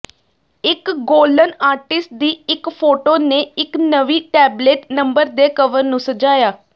ਇਕ ਗੌਲਨ ਆਰਟਿਸਟ ਦੀ ਇਕ ਫੋਟੋ ਨੇ ਇਕ ਨਵੀਂ ਟੈਬਲੇਡ ਨੰਬਰ ਦੇ ਕਵਰ ਨੂੰ ਸਜਾਇਆ